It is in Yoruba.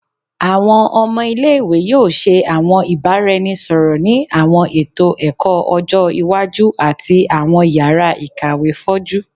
Awọn ọmọ ile-iwe yoo ṣe awọn ibaraẹnisọrọ ni awọn eto ẹkọ ọjọ iwaju ati awọn yara ikawe foju